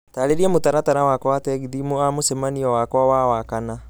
taarĩria mũtaratara wakwa wa tegithi thũtha wa mũcemanio wakwa wa wakana